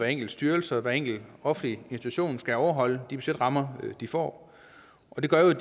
enkelt styrelse og hver enkelt offentlig institution skal overholde de budgetrammer de får og det gør jo at